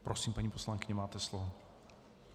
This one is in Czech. Prosím, paní poslankyně, máte slovo.